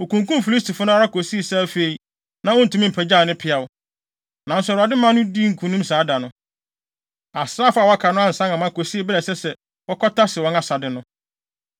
Okunkum Filistifo no ara kosii sɛ afei, na ontumi mpagyaw ne peaw. Nanso Awurade maa no dii nkonim saa da no. Asraafo a wɔaka no ansan amma kosii bere a ɛsɛ sɛ wɔkɔtase wɔn asade no.